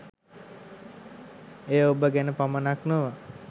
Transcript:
එය ඔබ ගැන පමණක් නොව